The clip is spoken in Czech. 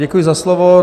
Děkuji za slovo.